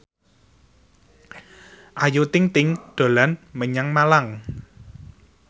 Ayu Ting ting dolan menyang Malang